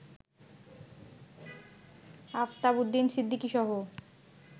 আফতাব উদ্দিন সিদ্দিকীসহ